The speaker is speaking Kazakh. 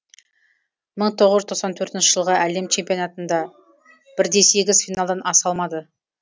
мың тоғыз жүз тоқсан төртінші жылғы әлем чемпионатында бірде сегіз финалдан аса алмады